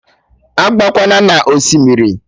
Agakwana na Osimiri!